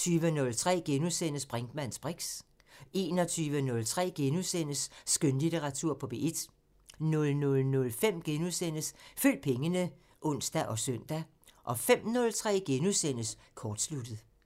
20:03: Brinkmanns briks * 21:03: Skønlitteratur på P1 * 00:05: Følg pengene *(ons og søn) 05:03: Kortsluttet *